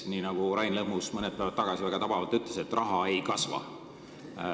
Nii nagu Rain Lõhmus mõni päev tagasi väga tabavalt ütles: "Raha ei kasva.